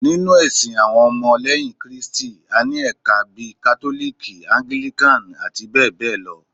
Ninu ẹsìn awọn ọmọ leyin kristi,a ní ẹka bíi kátólìkì, anglikan, abbl